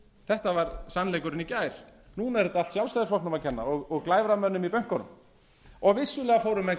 þetta var sannleikurinn í gær núna er þetta allt sjálfstæðisflokknum að kenna og glæframönnum í bönkum vissulega fóru menn